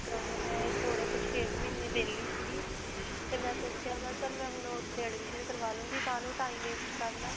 ਕਰਵਾਉਂਦੇ ਨੇ ਮੈਂ ਥੋੜੇ ਕ ਛੇ ਕੁ ਮਹੀਨਾ ਵੇਹਲੀ ਸਿਗੀ ਤੇ ਮੈਂ ਸੋਚਿਆ ਮੈਂ ਚਲ ਮੈਂ ਹੁਣ ਓੱਥੇ admission ਕਰਵਾ ਲਵਾਂਗੀ. ਕਾਹਨੂੰ time waste ਕਰਨਾ.